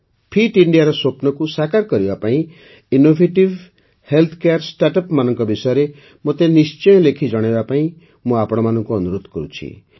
fit ଇଣ୍ଡିଆର ସ୍ୱପ୍ନକୁ ସାକାର କରିବା ପାଇଁ ଇନ୍ନୋଭେଟିଭ୍ ହେଲ୍ଥ କେୟାର ଷ୍ଟାର୍ଟଅପ୍ମାନଙ୍କ ବିଷୟରେ ମୋତେ ନିଶ୍ଚୟ ଲେଖି ଜଣାଇବାକୁ ମୁଁ ଆପଣମାନଙ୍କୁ ଅନୁରୋଧ କରୁଛି